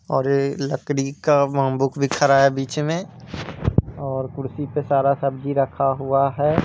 और ये लकड़ी काबोम्बु खरा है बीच में और कुर्सी पे सारा सब्जी रखा हुआ है।